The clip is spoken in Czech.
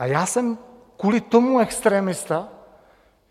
A já jsem kvůli tomu extremista?